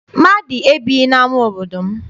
Mmadụ ebighị n'ama obodo m.